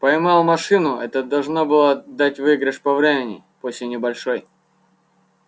поймал машину это должно было дать выигрыш по времени пусть и небольшой